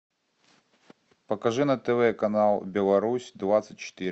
покажи на тв канал беларусь двадцать четыре